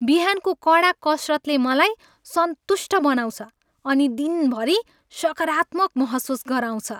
बिहानको कडा कसरतले मलाई सन्तुष्ट बनाउँछ अनि दिनभरि सकारात्मक महसुस गराउँछ।